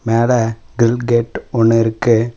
மேல grill gate ஒன்னு இருக்கு.